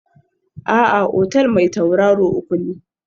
A'a, otal mai tauraro uku ne